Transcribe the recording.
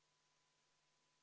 Istungi lõpp kell 19.20.